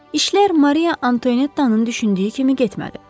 İşlər Mariya Antonettanın düşündüyü kimi getmədi.